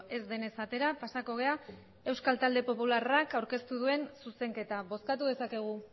ez denez atera pasako gara eusko talde popularrak aurkeztu duen zuzenketa bozkatu dezakegu